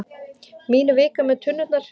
Mín vika með tunnurnar.